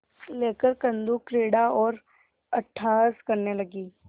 लेकर कंदुकक्रीड़ा और अट्टहास करने लगी